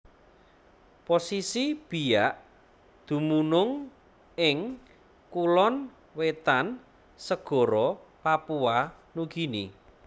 Posisi Biak dumunung ing Kulon Wetan segara Papua Nugini